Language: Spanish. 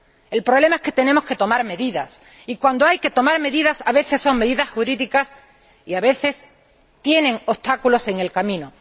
el problema es que tenemos que tomar medidas y cuando hay que tomar medidas, a veces, son medidas jurídicas y, a veces, tienen obstáculos en el camino.